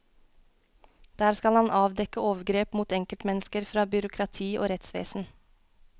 Der skal han avdekke overgrep mot enkeltmennesker fra byråkrati og rettsvesen.